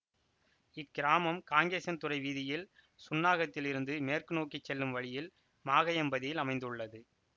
இக்கிராமம் காங்கேசன்துறை வீதியில் சுன்னாகத்தில் இருந்து மேற்கு நோக்கி செல்லும் வழியில் மாகையம்பதியில் அமைந்துள்ளது